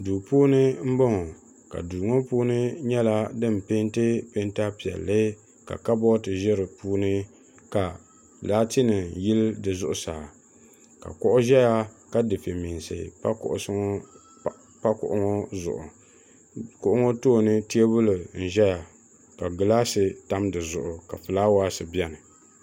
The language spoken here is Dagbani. duu puuni n bɔŋɔ ka duu ŋɔ puuni nyɛla din peenti peenta piɛlli ka kabooti ʒɛ di puuni ka laati nim yili di zuɣusaa ka kuɣu ʒɛya ka dufɛ meensi pa kuɣusi ŋɔ zuɣu kuɣu ŋɔ tooni teebuli n ʒɛya ka gilaas tam dizuɣu ka fulaawaasi biɛni